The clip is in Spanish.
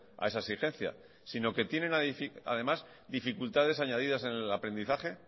a esa exigencia sino que tienen además dificultades añadidas en el aprendizaje